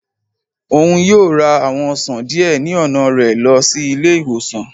Òún yóò ra àwọn ọsan diẹ ni ọna rẹ lọ si ile-iwosan.